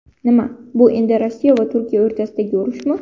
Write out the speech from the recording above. Nima, bu endi Rossiya va Turkiya o‘rtasidagi urushmi?.